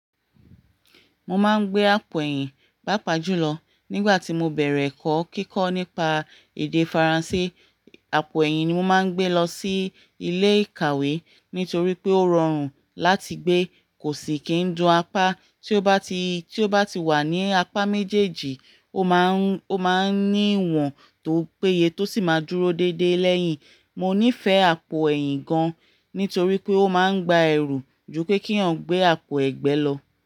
Mo máa ń gbé àpò ẹ̀yìn pàápàá jùlọ nígbà tí mo bẹ̀rẹ̀ ẹ̀kọ́ kíkọ́ nípa èdè Faransé. Àpò ẹ̀yìn ni mo máa ń gbé lọ sí ilé ìkàwé nítorí pé ó rọrùn láti gbé. Kò sì kí ń dun apá. Tí ó bá ti, tí ó bá ti wà ní apá méjèèjì, ó máa ń, ó máa ń ní ìwọ̀n tó péye tó sì máa dúró déédéé lẹ́yìn. Mo nífẹ̀ẹ́ àpò ẹ̀yìn gan nítorí pé ó máa ń gba ẹ̀rù ju pé kí àwọn gbé àpò ẹ̀gbẹ́ lọ.